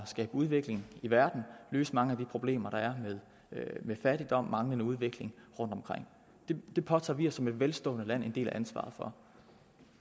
skabe udvikling i verden og løse mange af de problemer der er med fattigdom og manglende udvikling rundtomkring det påtager vi os som et velstående land en del af ansvaret for